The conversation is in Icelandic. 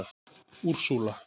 Úrsúla